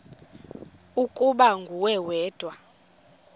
ukuba nguwe wedwa